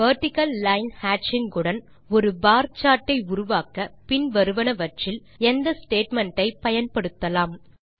vertical line ஹேட்சிங் உடன் ஒரு பார் சார்ட் ஐ உருவாக்க பின் வருவனவற்றில் எந்த ஸ்டேட்மெண்ட் ஐ பயன்படுத்தலாம்